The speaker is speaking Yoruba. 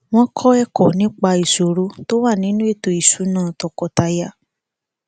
wọn kọ ẹkọ nípa ìṣòro tó wà nínú ètò ìṣúná tọkọtaya